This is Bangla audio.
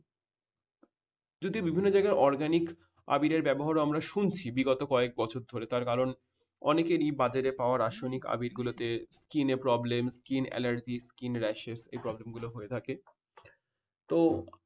যদি বিভিন্ন জায়গায় organic আবিরের ব্যবহার ও আমরা শুনছি বিগত কয়েক বছর ধরে তার কারণ অনেকেরই বাজারে পাওয়া রাসায়নিক আবির গুলোতে skin problem skin allergy skin rashes এই problem গুলো হয়ে থাকে তো